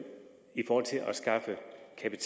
kan